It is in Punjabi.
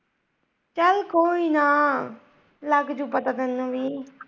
ਚੱਲ ਕੋਈ ਨਾ ਲੱਗ ਜੁ ਪਤਾ ਤੈਨੂੰ ਵੀ।